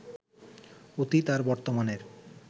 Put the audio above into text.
অতীত আর বর্তমানের